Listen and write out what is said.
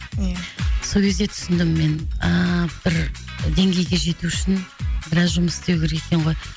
ия сол кезде түсіндім мен ааа бір деңгейге жету үшін біраз жұмыс істеу керек екен ғой